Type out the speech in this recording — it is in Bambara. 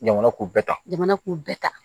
Jamana k'u bɛɛ ta jamana k'u bɛɛ ta